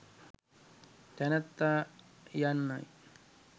තැනැත්තා යන්නයි.